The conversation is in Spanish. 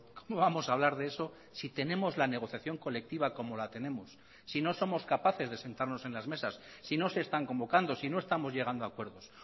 cómo vamos a hablar de eso si tenemos la negociación colectiva como la tenemos si no somos capaces de sentarnos en las mesas si no se están convocando si no estamos llegando a acuerdos